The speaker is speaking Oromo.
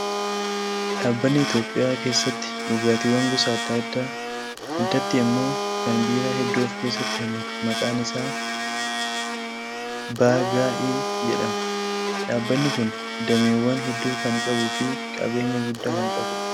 Dhaabbanni Itoophiyaa keessatti dhugaatiiwwan gosa adda addaa addatti immoo kan biiraa hedduu of keessatti hammatu maqaan isaa "BGI" jedhama. Dhaabbanni Kun dameewwan hedduu kan qabuu fi qabeenyaa guddaa kan qabudha